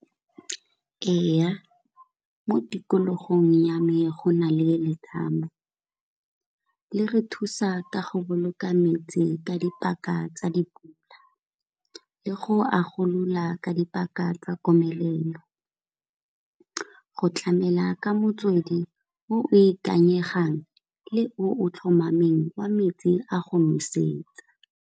Ee mo tikologong ya me go na le letamo le re thusa ka go boloka metsi ka dipaka tsa dipula, le go agolola ka dipaka tsa komelelo. Go tlamela ka motswedi o ikanyegang le o tlhomameng wa metsi a go nosetsa.